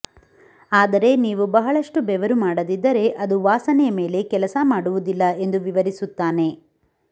ಆದರೆ ನೀವು ಬಹಳಷ್ಟು ಬೆವರು ಮಾಡದಿದ್ದರೆ ಅದು ವಾಸನೆಯ ಮೇಲೆ ಕೆಲಸ ಮಾಡುವುದಿಲ್ಲ ಎಂದು ವಿವರಿಸುತ್ತಾನೆ